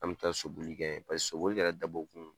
An be taa sobioli kɛ paseke sobili kɛra dabɔ kun